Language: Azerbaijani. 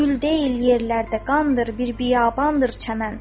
Gül deyil yerlərdə qandır bir biyabandır çəmən.